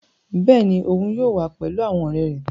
Bẹ́ẹ̀ni, oun yóò wa pẹlu awọn ọrẹ rẹ